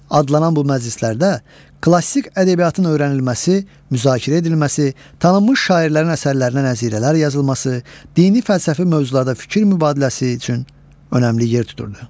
adlanan bu məclislərdə klassik ədəbiyyatın öyrənilməsi, müzakirə edilməsi, tanınmış şairlərin əsərlərinə nəzirələr yazılması, dini fəlsəfi mövzularda fikir mübadiləsi üçün önəmli yer tuturdu.